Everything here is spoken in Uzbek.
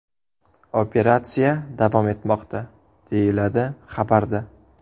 Operatsiya davom etmoqda”, deyiladi xabarda.